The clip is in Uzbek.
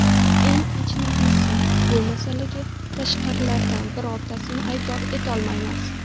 Eng achinarlisi, bu masalaga tashqaridagilardan birortasini aybdor etolmaymiz.